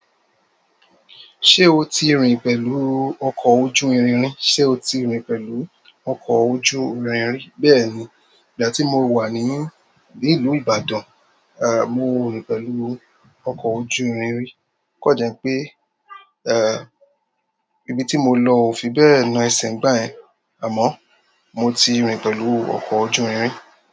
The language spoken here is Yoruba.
Ṣé o ti rìn pẹ̀lú ọ̀kọ ojú irin rí? Ṣé o ti rìn pẹ̀lú ọkọ̀ ojú irin rí? Bẹ́ẹ̀ni, ìgbà tí mo wà ní ìlú Ibadan, à, mo rìn pẹ̀lú ọkọ ojú irin rí. Kó jẹ́ pé, ẹ́, ibi tí mo lọ ò fi bẹ́ẹ̀ na ẹsẹ̀ ń gbà yẹn àmọ́ mo ti rìn pẹ̀lú ọkọ ojú irin.